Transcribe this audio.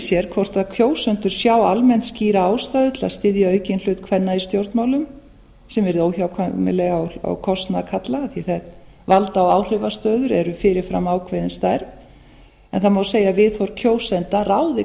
sér hvort kjósendur sjái almennt skýra ástæðu til að styðja aukinn hlut kvenna í stjórnmálum sem yrði óhjákvæmilega á kostnað karla af því að valda og áhrifastöður eru fyrir fram ákveðin stærð en það má segja að viðhorf kjósenda ráði